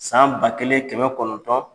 San ba kelen kɛmɛ kɔnɔntɔn